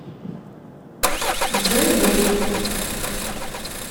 джой дэвид